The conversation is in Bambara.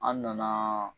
An nana